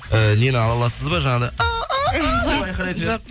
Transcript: і нені ала аласыз ба жаңағыдай деп айқайлайтын жоқ